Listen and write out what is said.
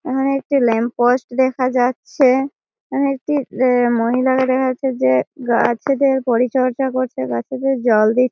এখানে একটি lamp post দেখা যাচ্ছে-এ। এখানে একটি এ মহিলাকে দেখা যাচ্ছে যে গাছেদের পরিচর্যা করছে গাছেদের জল দি--